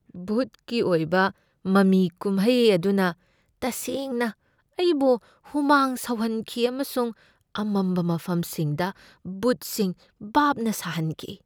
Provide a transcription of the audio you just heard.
ꯚꯨꯠꯀꯤ ꯑꯣꯏꯕ ꯃꯃꯤ ꯀꯨꯝꯍꯩ ꯑꯗꯨꯅ ꯇꯁꯦꯡꯅ ꯑꯩꯕꯨ ꯍꯨꯃꯥꯡ ꯁꯧꯍꯟꯈꯤꯑꯃꯁꯨꯡ ꯑꯃꯝꯕ ꯃꯐꯝꯁꯤꯡꯗ ꯚꯨꯠꯁꯤꯡ ꯚꯥꯞꯅ ꯁꯥꯍꯟꯈꯤ꯫